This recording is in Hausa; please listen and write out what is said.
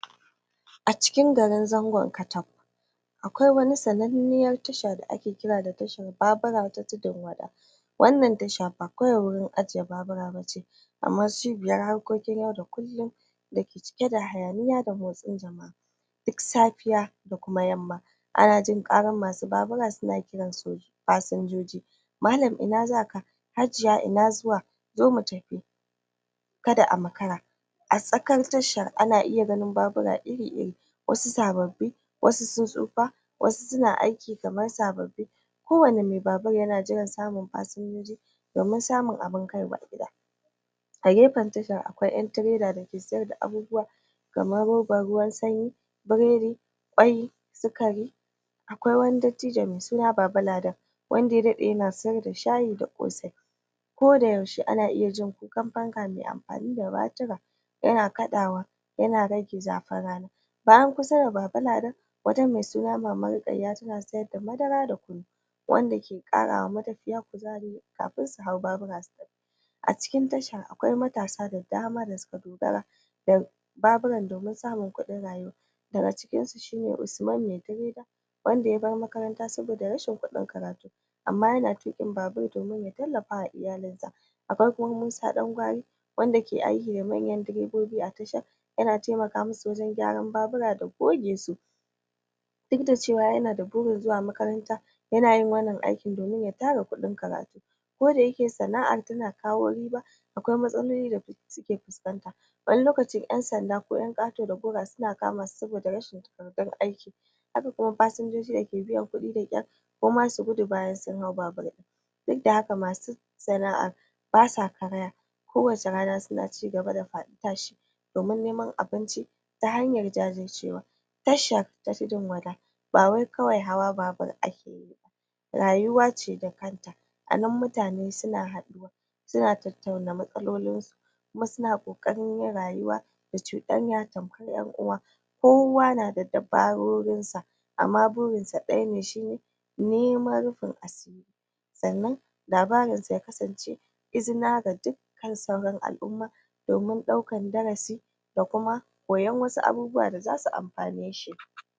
acikin garin zangon kataf a kwai wata sananniyanr tasha da ake kira da tashar babura ta tudun wada wannan tasha ba babura bane kaidai ake ajjiyewa kamar cibiyar harkokin yau da kullun da ke cike da hayaniya da motsin jama'a duk safiya da kuma yamma ana jin karar masu babura suna kiran fasunjoji malan ina zaka Hajiya ina zuwa zo mu tafi kada a makara a tsakar tasha ana iya ganin babura iri-iri wasu sababbi wasu sun tsufa wasu suna ayki kar sabbi kowani mai babir yana jiran fasinja domin samun abin kaiwa gida a gefan titin a kwai 'yan tireda da ke saida kaya akwai 'yan tireda da ke saidakayayyaki kamar roban ruwan s, kamar roban ruwan sanyi, biredi kwai, sikari kwai, sikari akwa wani dadtijo mai suna baba ladan wanda ya dade yana saida shayi da kosai koda yaushe ana iya jin kukan fanka mai amfani da batira yana kadawa yana rage zafin rana bayan kusa da baba ladan akwai wata mai suna maman rukayya tana saida madara da kunu da yake karawa matafiya kuzari kafin su hau babura su tafi acikin tasha akwai akwai matasa da dama da suka dogara da babura domin samun kudin rayuwa gaga cikinsu a kwai usuman mai tiredz wanda ya bar makaranta saboda rashin kudin karatu amma yana tukin babu dan ya tallafawa iyalinsa akwai kuma musa dan gwari wamda yake ayki da manyan direbobi a tasha yana temaka musu wajan gyaran babura da goge su duk da cewa yana da burin zuwa makaranta duk da cewa yana da burin zuwa makaranta yana wan nan aikin dan ya tara kudin karatu koda yake sana'ar tana kawo riba akwai matsaloli da suke fiskanta waninlokaci 'yansanda ko yan kato da gora suna kamasu rashin takardun haka kuma fasunjoji da ke biyan kudi da kyar koma su gudu bayan sun hau babir din duk da haka masu sana'a basa karaya kowace rana suna cigaba da fadi tashi domin neman abinci ta hanyar jajircewa tasha ta tudun wada bawai kawai hawa babur ake yiba rayuwace da kanta anan mutane suna haduwa suna tattauna matsalolin su kuma suna kokarin yin rayuwa da da cudanya kamar 'yan'uwa kowa na da dabarorinsa amma burinsa daya ne shi ne niman rifin asiri sannan labarin zai kasance izina ga dukkan sauran al'umma domin daukar darasi da kuma koyan wasasu abubuwa da za su ammfane shi